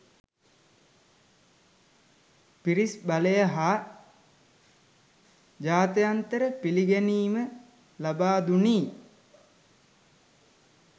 පිරිස් බලය හා ජාත්‍යන්තර පිළිගැනීම ලබාදුණි